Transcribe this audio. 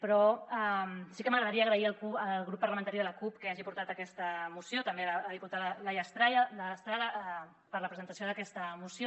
però sí que m’agradaria agrair al grup parlamentari de la cup que hagi portat aquesta moció també a la diputada laia estrada per la presentació d’aquesta moció